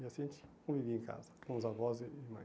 E assim a gente convivia em casa, com os avós e mãe.